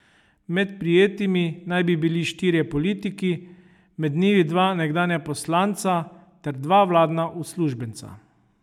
Med prijetimi naj bi bili štirje politiki, med njimi dva nekdanja poslanca ter dva vladna uslužbenca.